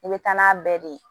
I bɛ taa n'a bɛɛ de ye